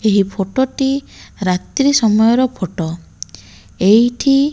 ଏହି ଫଟଟି ରାତ୍ରୀ ସମୟର ଫଟ ଏଇଠି --